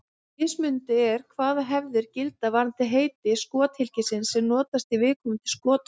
Mismunandi er hvaða hefðir gilda varðandi heiti skothylkisins sem notast í viðkomandi skotvopn.